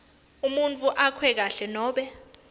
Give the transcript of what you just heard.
umuntfu akhwehlela nobe